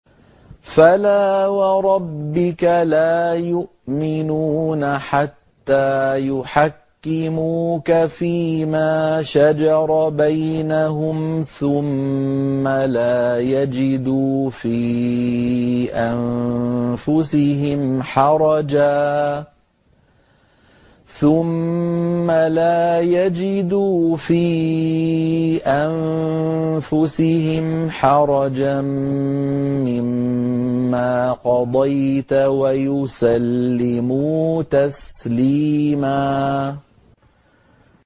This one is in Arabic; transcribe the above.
فَلَا وَرَبِّكَ لَا يُؤْمِنُونَ حَتَّىٰ يُحَكِّمُوكَ فِيمَا شَجَرَ بَيْنَهُمْ ثُمَّ لَا يَجِدُوا فِي أَنفُسِهِمْ حَرَجًا مِّمَّا قَضَيْتَ وَيُسَلِّمُوا تَسْلِيمًا